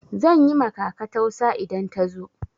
Zan yi ma kaka tausa idan ta zo.